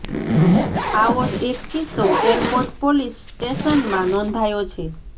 આવો જ એક કિસ્સો એરપોર્ટ પોલીસ સ્ટેશનમાં નોંધાયો છે